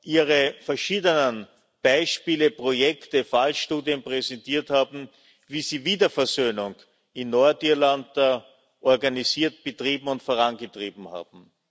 ihre verschiedenen Beispiele, Projekte, Fallstudien präsentiert haben, wie sie Wiederversöhnung in Nordirland organisiert, betrieben und vorangetrieben haben.